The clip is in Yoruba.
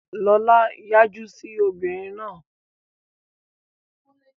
Lọlá yájú sí obìnrin náà.